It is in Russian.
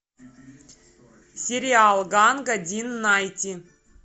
сериал ганга дин найти